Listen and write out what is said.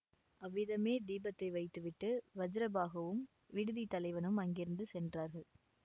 அவ்விதமே தீபத்தை வைத்துவிட்டு வஜ்ரபாஹுவும் விடுதித் தலைவனும் அங்கிருந்து சென்றார்கள்